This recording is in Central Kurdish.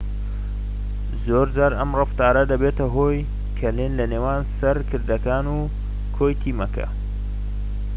زۆرجار ئەم ڕەفتارە دەبێتە هۆی کەلێن لە نێوان سەرکردەکان و کۆی تیمەکە